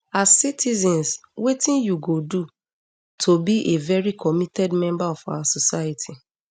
as citizens wetin you go do to be a very committed member of our society